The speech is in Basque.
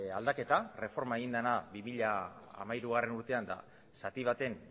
aldaketa erreforma egin dena bi mila hamairugarrena urtean eta zati baten